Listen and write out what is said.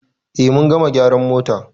Eh mun gama gyara mota.